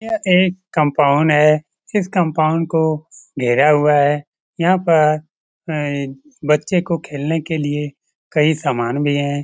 यह एक कंपाउंड है इस कंपाउंड को घेरा हुआ है यहाँ पर अ बच्चे को खेलने के लिए कई समान भी है ।